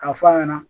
K'a f'a ɲɛna